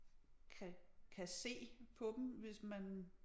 Kan kan se på dem hvis man